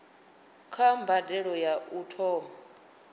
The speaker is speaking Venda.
kha mbadelo ya u thoma